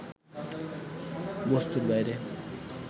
বস্তুর বাইরে